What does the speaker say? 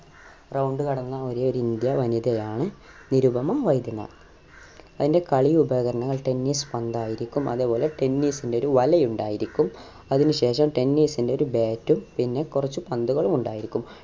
round കടന്ന ഒരേ ഒരു ഇന്ത്യ വനിതായാണ് നിരുപമ വൈദ്യനാഥ് അതിന്റെ കളി ഉപകരണങ്ങൾ tennis പന്തായിരിക്കും അതുപോലെ tennis ന്റെ ഒരു വല ഉണ്ടായിരിക്കും അതിനു ശേഷം tennis ന്റെ ഒരു bat ഉം പിന്നെ കുറച്ച് പന്തുകളും ഉണ്ടായിരിക്കും